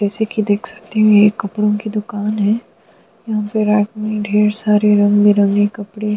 जैसे कि देख सकती हैं ये एक कपड़ों की दुकान है। यहाँ पे रात में ढेर सारे रंग बिरंगे कपड़े --